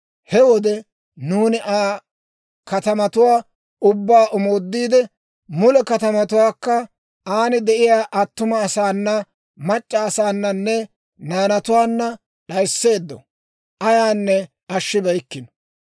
He wode nuuni Aa katamatuwaa ubbaa omoodiide, mule katamatuwaakka, aan de'iyaa attuma asaana, mac'c'a asaananne naanatuwaanna d'ayiseeddo; ayaanne ashshibeykko.